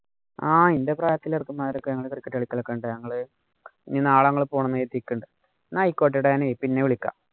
ആഹ് എന്‍റെ പ്രായത്തിലുള്ള ചെറുക്കന്മാരൊക്കെ ഞങ്ങള് cricket കളിക്കലുണ്ട്. ഞങ്ങള് ഇനി നാളെ ഞങ്ങള് പോണം. ആയിക്കോട്ടെടാ, ഞാന് പിന്നെ വിളിക്കാം.